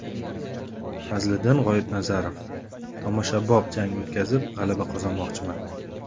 Fazliddin G‘oibnazarov: Tomoshabop jang o‘tkazib g‘alaba qozonmoqchiman.